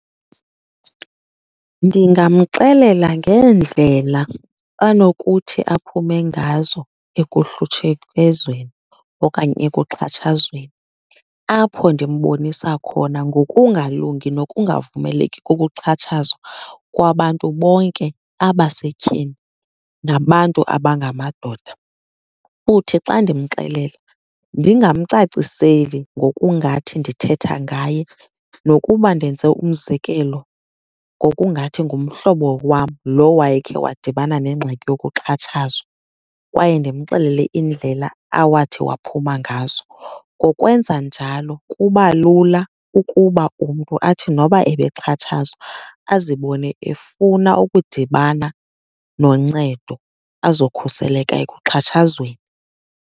Ndingamxelela ngeendlela anokuthi aphume ngazo ekuhlutshekezweni okanye ekuxhatshazweni. Apho ndimbonisa khona ngokungalungi nokungavumeleki kokuxhatshazwa kwabantu bonke abasetyhini nabantu abangamadoda. Futhi xa ndimxelela ndingamcaciseli ngokungathi ndithetha ngaye nokuba ndenze umzekelo ngokungathi ngumhlobo wam lo wayekhe wadibana nengxaki yokuxhatshazwa, kwaye ndimxelele iindlela awathi waphuma ngazo. Ngokwenza njalo kuba lula ukuba umntu athi noba ebexhatshazwa azibone efuna ukudibana noncedo, azokhuseleka ekuxhatshazweni.